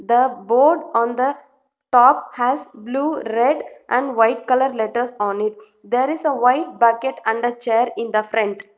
the board on the top has blue red and white colour letters on it there is a white bucket under chair in the front.